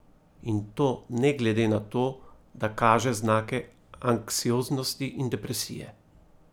In to ne glede na to, da kaže znake anksioznosti in depresije.